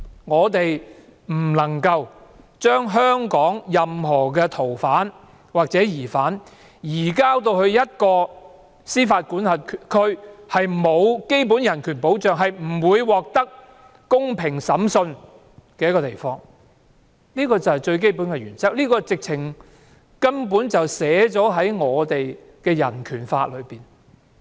我們不能夠把香港任何逃犯或疑犯，移送到一個司法管轄區沒有基本人權保障、不會獲得公平審訊的地方，這就是最基本的原則，這根本已寫在人權法中。